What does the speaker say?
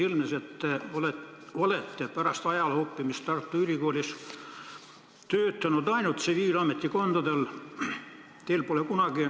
Ilmnes, et te olete pärast ajaloo õppimist Tartu Ülikoolis töötanud ainult tsiviilametikohtadel.